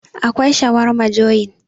akwai shawarma joyin